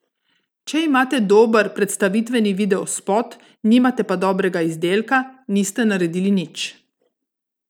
Če imate dober predstavitveni videospot, nimate pa dobrega izdelka, niste naredili nič.